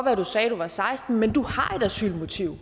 at du sagde at du var seksten år men du har et asylmotiv og